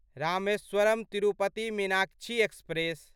Rameswaram Tirupati Meenakshi express